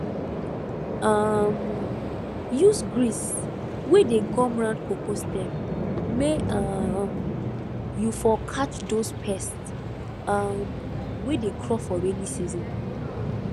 um use grease wey dey gum round cocoa stem may um you for catch dose pest um wey dey crawl for raining season